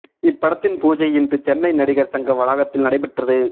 இப்படத்தின் பூஜை இன்று சென்னை நடிகர் சங்க வளாகத்தில் நடைபெற்றது